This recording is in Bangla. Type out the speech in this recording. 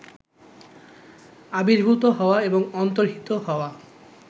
আবির্ভূত হওয়া এবং অন্তর্হিত হওয়া